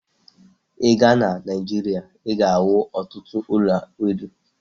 I gaa na Nigeria, I ga-ahu ọtụtụ ụlọ elu